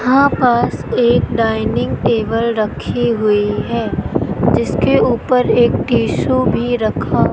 हां पास एक डाइनिंग टेबल रखी हुई है जिसके ऊपर एक टिशू भी रखा--